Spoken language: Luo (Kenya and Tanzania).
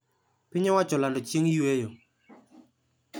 piny owacho olando chieng` yweyo